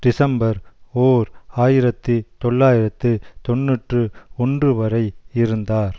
December ஓர் ஆயிரத்தி தொள்ளாயிரத்து தொன்னூற்று ஒன்று வரை இருந்தார்